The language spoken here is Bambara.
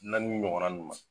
Naani ɲɔgɔnna nu ma